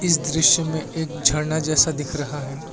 इस दृश्य में एक झरना जैसा दिख रहा है।